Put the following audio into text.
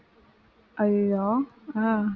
அய்யோயோ அஹ்